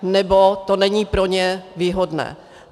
Nebo to není pro ně výhodné.